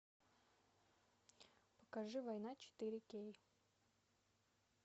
покажи война четыре кей